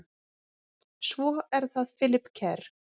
Svo er það Philip Kerr.